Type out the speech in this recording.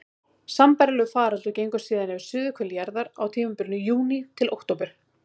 Sambærilegur faraldur gengur síðan yfir suðurhvel jarðar á tímabilinu júní til október.